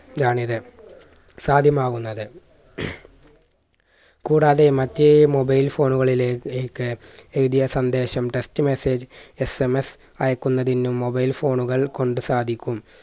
ലാണ് ഇത് സാധ്യമാകുന്നത്. കൂടാതെ മറ്റേ mobile phone കളിലെ ലേക് എഴുതിയ സന്ദേശം text messageSMS അയക്കുന്നതിനും mobile phone കൾ കൊണ്ട് സാധിക്കും